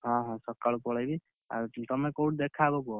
ହଁ ହଁ, ସକାଳୁ ପଳେଇମି, ଆଉ ତମେ କୋଉଟି ଦେଖାହବ କୁହ?